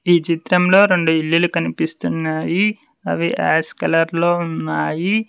ఈ చిత్రంలో రెండు ఇల్లులు కనిపిస్తున్నాయి అవి యాష్ కలర్ లో ఉన్నాయి.